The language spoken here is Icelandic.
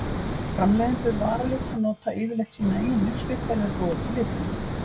Framleiðendur varalita nota yfirleitt sína eigin uppskrift þegar þeir búa til litina.